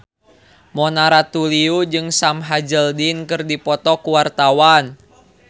Mona Ratuliu jeung Sam Hazeldine keur dipoto ku wartawan